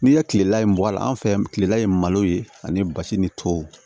N'i ye kilela in mɔgɔ la an fɛ yan kilela ye malo ye ani basi ni tɔw